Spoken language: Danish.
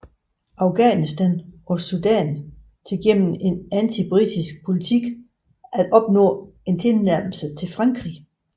Afghanistan og Sudan til gennem en antibritisk politik at opnå en tilnærmelse til Frankrig